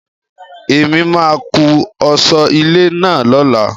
Èmi máa kún ọ̀sọ́ ilé náà lóla.